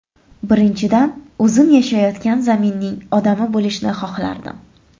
Birinchidan, o‘zim yashayotgan zaminning odami bo‘lishni xohlardim.